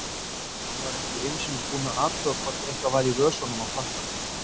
Hann var ekki einu sinni búinn að athuga hvort eitthvað væri í vösunum á frakkanum.